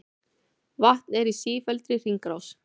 Vatn er í sífelldri hringrás.